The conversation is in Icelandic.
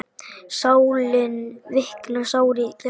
Sálin viknar, sárið grær.